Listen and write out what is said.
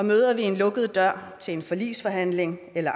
møder vi en lukket dør til en forligsforhandling eller